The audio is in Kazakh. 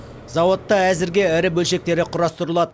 зауытта әзірге ірі бөлшектері құрастырылады